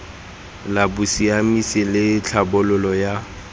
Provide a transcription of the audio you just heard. la bosiamisi le tlhabololo ya